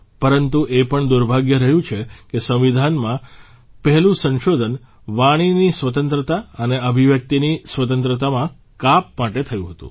પરંતુ એ પણ દુર્ભાગ્ય રહ્યું છે કે સંવિધાનમાં પહેલું સંશોધન વાણીની સ્વતંત્રતા અને અભિવ્યક્તિની સ્વતંત્રતામાં કાપ માટે થયું હતું